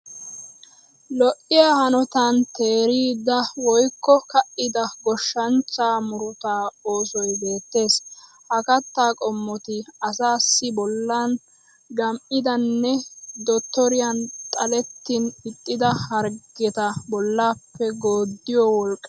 Lo'iya hanotan teerida woyikko ka'ida goshshanichchaa murutaa oosoyi beettees. Ha kattaa qommoti asaassi bollan gam'idanne dottoriyan xalettin ixxida harggeta bollaappe gooddiyo woliqqay de'ees.